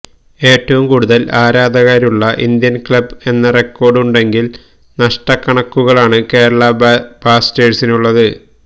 ഏറ്റവും കൂടുതൽ ആരാധകരുള്ള ഇന്ത്യൻ ക്ലബ് എന്ന റെക്കോർഡ് ഉണ്ടെങ്കിൽ നഷ്ട കണക്കുകളാണ് കേരള ബ്ലാസ്റ്റേഴ്സിനുള്ളത്